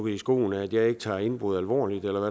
i skoene at jeg ikke tager indbrud alvorligt eller